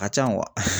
A ka can